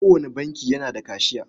Kowane banki yana da kashiya.